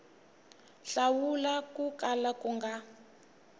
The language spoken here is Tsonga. hlawula ko kala ku nga